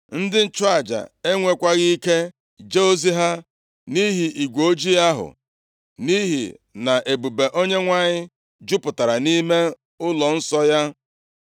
Ndị nchụaja enwekwaghị ike jee ozi ha, nʼihi igwe ojii ahụ, nʼihi na ebube Onyenwe anyị jupụtara nʼime ụlọnsọ ya.